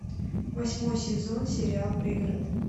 восьмой сезон сериал пригород